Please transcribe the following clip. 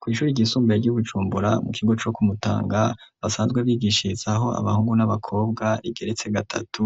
Kw'ishuri ryisumbuye ryi bujumbura ,mu kigo co kumutanga basanzwe bigishirizaho abahungu n'abakobwa ,rigeretse gatatu,